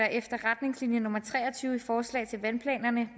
efter retningslinje nummer tre og tyve i forslag til vandplanerne